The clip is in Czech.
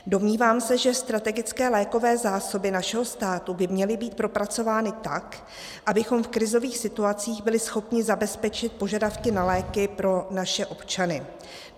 Domnívám se, že strategické lékové zásoby našeho státu by měly být propracovány tak, abychom v krizových situacích byli schopni zabezpečit požadavky na léky pro naše občany.